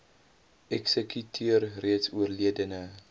eksekuteur reeds oorledene